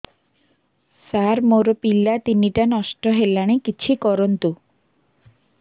ସାର ମୋର ପିଲା ତିନିଟା ନଷ୍ଟ ହେଲାଣି କିଛି କରନ୍ତୁ